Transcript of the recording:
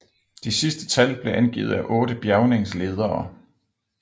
De sidste tal blev angivet af otte bjærgningsledere